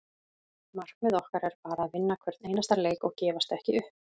Markmið okkar er bara að vinna hvern einasta leik og gefast ekki upp.